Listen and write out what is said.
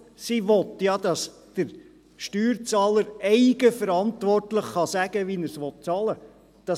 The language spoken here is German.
Sie will, dass der Steuerzahler eigenverantwortlich sagen kann, wie er die Steuern bezahlen will.